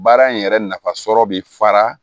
Baara in yɛrɛ nafasɔrɔ bi fara